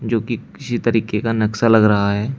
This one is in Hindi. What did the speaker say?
जो कि किसी तरीके का नक्शा लग रहा है।